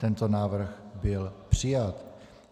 Tento návrh byl přijat.